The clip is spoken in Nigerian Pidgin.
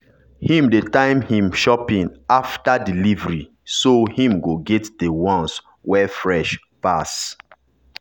him dey time him shopping after delivery so him go get the ones wey fresh pass.